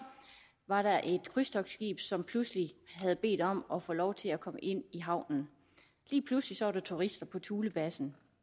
var der et krydstogtskib som pludselig havde bedt om at få lov til at komme ind i havnen lige pludselig var der turister på thulebasen